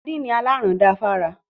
Sardini alaran da fún ara.